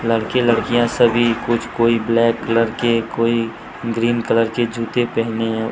लड़के लड़कियां सभी कुछ कोई ब्लैक कलर के कोई ग्रीन कलर के जूते पहने हैं।